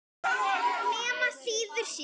Nema síður sé.